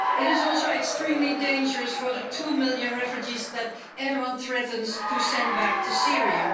it is also extremely dangerous for the two million refugees that Erdoğan threatens to send back to Syria.